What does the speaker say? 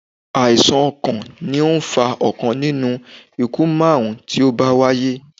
Àìsàn ọkàn ni ó fa ọ̀kan nínú ikú márùn-ún tí ó bá wáyé.